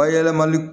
Bayɛlɛmali